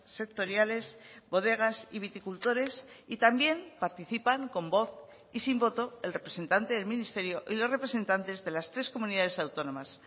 sectoriales bodegas y viticultores y también participan con voz y sin voto el representante del ministerio y los representantes de las tres comunidades autónomas